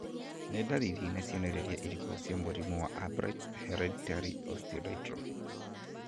Nĩ ndariri na cionereria irĩkũ cia mũrimũ wa Albright's hereditary osteodystrophy?